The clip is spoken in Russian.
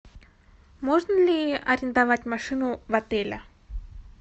можно ли арендовать машину в отеле